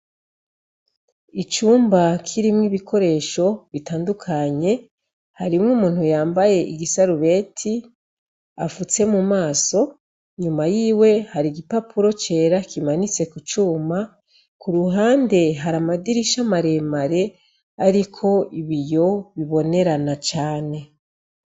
Icumba kirimw'ibikoresho bitandukanye harimw'umuntu yambaye igisarubeti afutse mumaso. Inyuma yiwe har'igipapuro cera kimanitse kucuma, k'uruhande har'amadirisha maremare ariko ibiyo bibonerana cane.